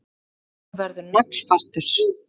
Hann er og verður naglfastur.